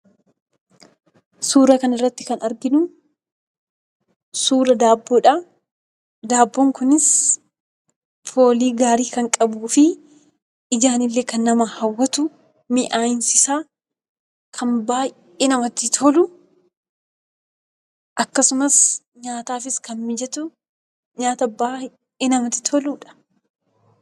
Suura kana irratti kan arginu suura daabboodha. Daabboon kunis foolii gaarii kan qabuu fi ijaan illee kan nama hawwatu, miyaa'insi isaa kan baay'ee namatti tolu, akkasumas nyaataafis kan mijatu, nyaata baay'ee namatti toluudha.